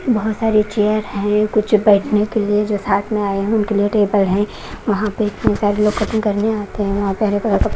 बहोत सारे चेयर हैं कुछ बैठने के लिए जो साथ में आय हुए उनके लिए टेबल हैं वहां पे तीन चार लोग कटिंग करने आते है वहां पे हरे कलर का--